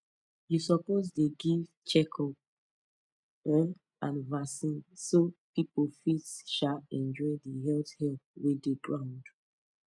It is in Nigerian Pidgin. you suppose dey give check up um and vaccine so people fit um enjoy the health help wey dey ground